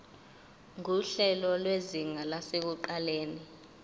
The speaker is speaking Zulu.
nguhlelo lwezinga lasekuqaleni